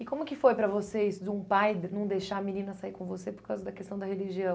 E como que foi para vocês, de um pai não deixar a menina sair com você por causa da questão da religião?